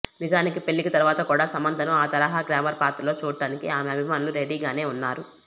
నిజానికి పెళ్లికి తరువాత కూడా సమంతను ఆ తరహా గ్లామర్ పాత్రల్లో చూడటానికి ఆమె అభిమానులు రెడీగానే ఉన్నారు